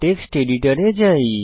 text এডিটরে যাই